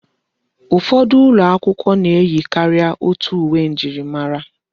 Ụfọdụ ụlọ akwụkwọ na-eyi karịa otu uwe njirimara.